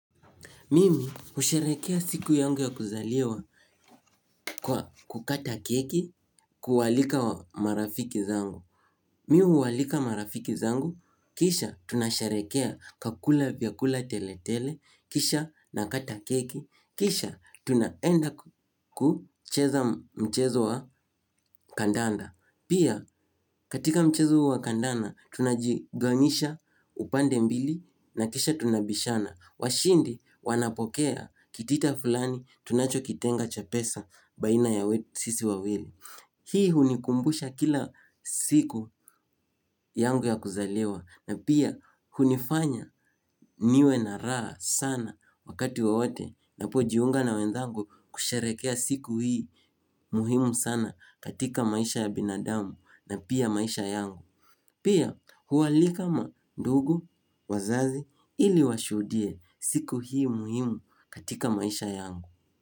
Mimi husherehekea siku yangu ya kuzaliwa kwa kukata keki kualika marafiki zangu. Mimi huwaalika marafiki zangu, kisha tunasharehekea kwa kula vyakula tele tele, kisha nakata keki, kisha tunaenda kucheza mchezo wa kandanda. Pia katika mchezo wa kandanda tunajigawanyisha upande mbili na kisha tunabishana. Washindi wanapokea kitita fulani tunachokitenga cha pesa baina ya sisi wawili. Hii hunikumbusha kila siku yangu ya kuzaliwa na pia hunifanya niwe na raha sana wakati wowote ninapojiunga na wenzangu kusherehekea siku hii muhimu sana katika maisha ya binadamu na pia maisha yangu. Pia huwaalika mandugu, wazazi ili washuhudie siku hii muhimu katika maisha yangu.